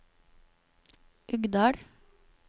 Uggdal